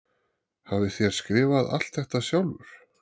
Hafið þér skrifað alt þetta sjálfur?